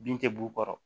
Bin tɛ b'u kɔrɔ